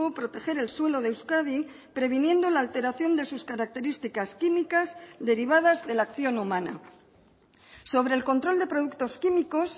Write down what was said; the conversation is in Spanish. proteger el suelo de euskadi previniendo la alteración de sus características químicas derivadas de la acción humana sobre el control de productos químicos